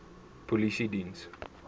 polisiediens